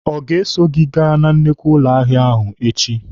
Ọ ga-eso gị aga na nnukwu ụlọ ahịa ahụ echi?